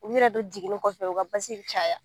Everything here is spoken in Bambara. U yɛrɛ dun jiginnen kɔfɛ u ka basi caya